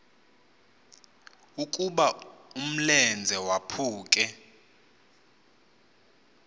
ukuba umlenze waphuke